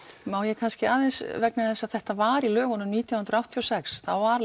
má ég kannski aðeins vegna þess að þetta var í lögunum nítján hundruð áttatíu og sex þá var